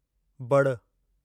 बड़ु